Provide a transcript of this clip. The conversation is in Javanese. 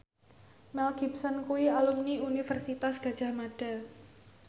Mel Gibson kuwi alumni Universitas Gadjah Mada